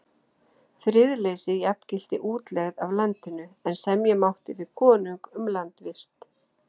Friðleysi jafngilti útlegð af landinu, en semja mátti við konung um landvist.